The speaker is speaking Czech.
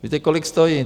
Víte, kolik stojí?